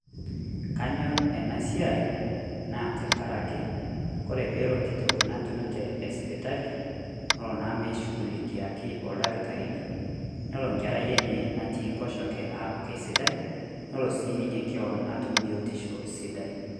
Kanyor enasiai, naa tenkaraki kore pelo nkitok natunute esipitali, nolo naa meishugulikiaki ildakitarini, nelo nkarai enye natii nkoshoke aaku kesidai, nelo si ninye keon atum biotisho sidai.